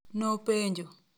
Nopenjo.